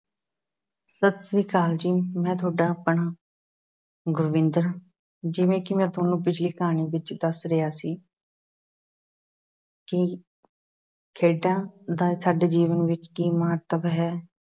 ਸਤਿ ਸ੍ਰੀ ਅਕਾਲ ਜੀ ਮੈਂ ਤੁਹਾਡਾ ਆਪਣਾ ਗੁਰਵਿੰਦਰ ਜਿਵੇਂ ਕਿ ਮੈਂ ਤੁਹਾਨੂੰ ਪਿੱਛਲੀ ਕਹਾਣੀ ਵਿੱਚ ਦੱਸ ਰਿਹਾ ਸੀ ਕਿ ਖੇਡਾਂ ਦਾ ਸਾਡੇ ਜੀਵਨ ਵਿੱਚ ਕੀ ਮਹੱਤਵ ਹੈ